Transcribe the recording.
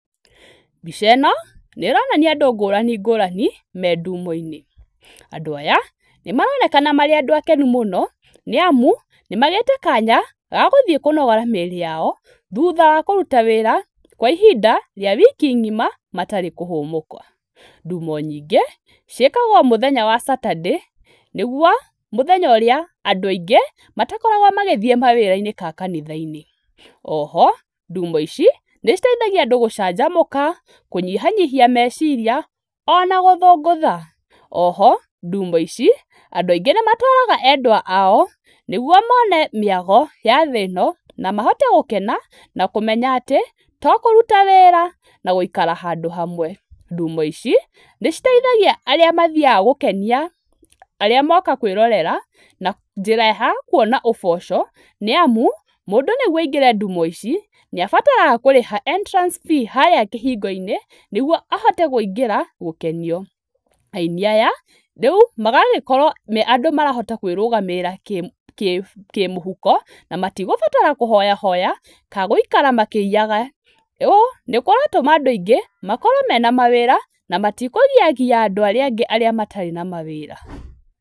Mbica no nĩronania andũ ngũrani ngũrani me ndumo-inĩ. Andũ aya nĩmaronekana marĩ andũ akenu mũno, nĩamu nĩmagĩte kaanya ga gũthiĩ kũnogora mĩĩrĩ yao thuutha wa kũruta wĩra kwa ihinda rĩa wiki ng'ima matarĩ kũhũmũka. Ndumo nyingĩ ciĩkagwo mũthenya wa Saturday, nĩguo mũthenya ũrĩa andũ aingĩ matakoragwo magĩthiĩ mawĩra-inĩ kaa kanitha-inĩ. O ho ndumo ici nĩciteithagia andũ gũcanjamũka, kũnyihanyihia meciria ona gũthũngũtha. O ho ndumo ici andũ aingĩ nĩmatwaraga endwa ao, nĩguo mone mĩago ya thĩ ĩno na mahote gũkena na kũmenya atĩ to kũruta wĩra na gũikara handũ hamwe. Ndumo ici nĩciteithagia arĩa mathiaga gũkenia arĩa moka kwĩrorera na njĩra ya kuona ũboco, nĩamu mũndũ, nĩguo aingĩre ndumo ici nĩ abataraga kũrĩha entrance fee harĩa kĩhingo-inĩ, nĩguo ahote gũingĩra gũkenio. Aini aya rĩu magagĩkorwo me andũ marahota kwĩrũgamĩrĩra kĩmũ, kĩ, kĩmũhuko, na matigũbatara kũhoyahoya kaa gũikara makĩiyaga. Ũũ nĩkũratũma andũ aingĩ makorwo mena mawĩra na matikũgiagia andũ arĩa angĩ arĩa matarĩ na mawĩra.